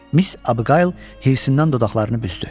Mis Abıqayl hirsinndən dodaqlarını büzdü.